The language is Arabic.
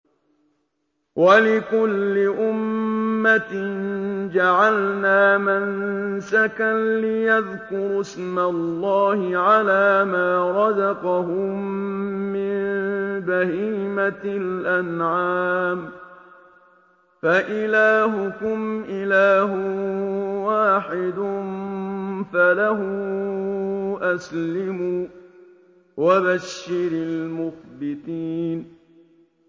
وَلِكُلِّ أُمَّةٍ جَعَلْنَا مَنسَكًا لِّيَذْكُرُوا اسْمَ اللَّهِ عَلَىٰ مَا رَزَقَهُم مِّن بَهِيمَةِ الْأَنْعَامِ ۗ فَإِلَٰهُكُمْ إِلَٰهٌ وَاحِدٌ فَلَهُ أَسْلِمُوا ۗ وَبَشِّرِ الْمُخْبِتِينَ